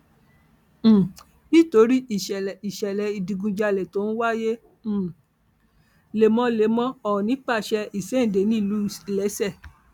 um nítorí ìṣẹlẹ ìṣẹlẹ ìdígunjalè tó ń wáyé um lemọlemọ ọọnì pàṣẹ ìṣede nílùú iléeṣẹ